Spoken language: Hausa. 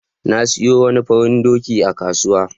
Na sayo wani farin doki a kasuwa.